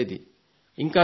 ఇంకా చూడండి